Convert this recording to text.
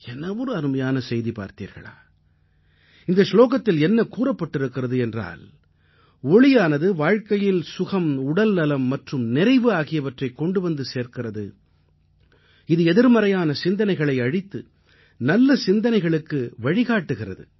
என்ன ஒரு அருமையான செய்தி பார்த்தீர்களா இந்த சுலோகத்தில் என்ன கூறப்பட்டிருக்கிறது என்றால் ஒளியானது வாழ்க்கையில் சுகம் உடல்நலம் மற்றும் நிறைவு ஆகியவற்றைக் கொண்டு வந்து சேர்க்கிறது இது எதிர்மறையான சிந்தனைகளை அழித்து நல்ல சிந்தனைகளுக்கு வழிகாட்டுகிறது